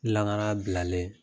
Lankana bilalen.